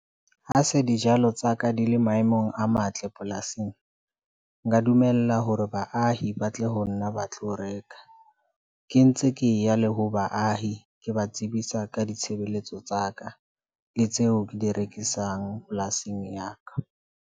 Ha se dijalo tsa ka di le maemong a matle polasing. Nka dumella hore baahi ba tle ho nna ba tlo reka. Ke ntse ke ya le ho baahi ke ba tsebisa ka ditshebeletso tsa ka le tseo ke di rekisang polasing ya ka.